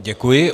Děkuji.